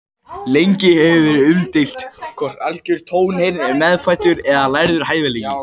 Lengi hefur verið umdeilt hvort algjör tónheyrn er meðfæddur eða lærður hæfileiki.